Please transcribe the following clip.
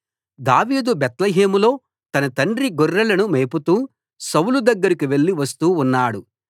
దావీదు బేత్లెహేములో తన తండ్రి గొర్రెలను మేపుతూ సౌలు దగ్గరకు వెళ్ళి వస్తూ ఉన్నాడు